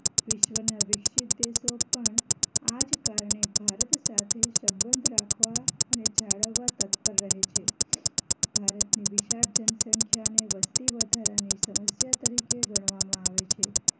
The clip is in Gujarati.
વિશ્વ ના વિકસિત દેશો પણ આ જ કારણે ભારત સાથે સંબંધ રાખવા અને જાળવવા તત્પર રહે છે ભારતની વિશાળ જન સંખ્યા ને વસ્તી વધારાની સમસ્યા તરીકે ગણવામાં આવે છે